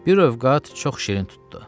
Bir övqat çox şirin tutdu.